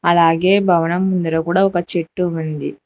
అలాగే భవనం ముందర కూడా ఒక చెట్టు ఉంది.